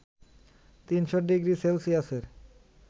৩০০ degree সেলসিয়াসের